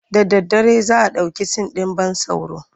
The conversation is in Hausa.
Da daddare za a ɗauki sin ɗin ban tsoro.